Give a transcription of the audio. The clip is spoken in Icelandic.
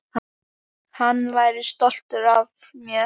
Hann væri stoltur af mér.